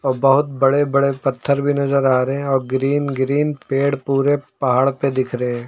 बहुत बड़े बड़े पत्थर भी नजर आ रहे हैं और ग्रीन ग्रीन पेड़ पूरे पहाड़ पे दिख रहे हैं।